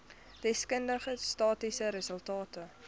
deskundige statistiese resultate